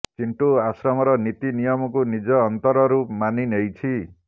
ଚିଣ୍ଟୁ ଆଶ୍ରମର ନୀତି ନିୟମକୁ ନିଜ ଅନ୍ତରରୁ ମାନି ନେଇଛି